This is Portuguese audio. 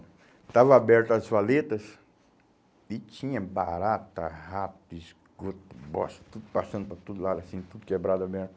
Estava aberto as valetas e tinha barata, rapes, esgoto, bosta, tudo passando para todo lado, assim, tudo quebrado, aberto.